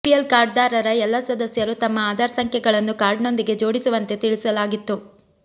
BPL ಕಾರ್ಡ್ದಾರರ ಎಲ್ಲಾ ಸದಸ್ಯರು ತಮ್ಮ ಆಧಾರ್ ಸಂಖ್ಯೆಗಳನ್ನು ಕಾರ್ಡ್ನೊಂದಿಗೆ ಜೋಡಿಸುವಂತೆ ತಿಳಿಸಲಾಗಿತ್ತು